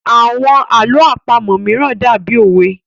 Àwọn àlọ́ àpamọ̀ mìíràn dàbí òwe